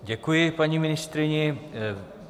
Děkuji paní ministryni.